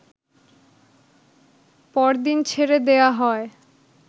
পর দিন ছেড়ে দেয়া হয়